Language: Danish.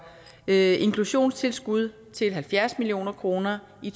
inklusionstilskuddet til halvfjerds million kroner i